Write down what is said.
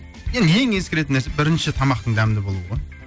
енді ең ескеретін нәрсе бірінші тамақтың дәмді болуы